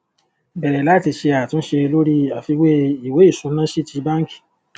bẹrẹ láti ṣe àtúnṣe lórí àfiwé ìwé ìsúná sí ti bánkì